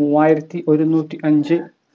മൂവ്വായിരത്തി ഒരുന്നൂറ്റി അഞ്ച്